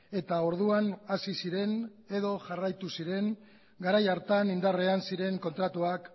eta orduan hasi ziren edo jarraitu ziren garai hartan indarrean ziren kontratuak